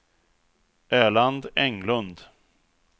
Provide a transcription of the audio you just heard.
Erland Englund